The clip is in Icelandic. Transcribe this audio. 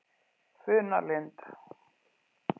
Funalind